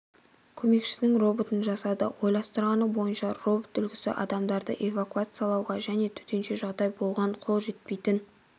көмекшісінің роботын жасады ойластырғаны бойынша робот үлгісі адамдарды эвакуациялауға және төтенше жағдай болған қол жетпейтін